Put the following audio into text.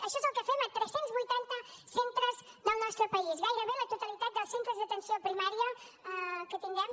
això és el que fem a tres cents i vuitanta centres del nostre país gairebé a la totalitat dels centres d’atenció primària que tindrem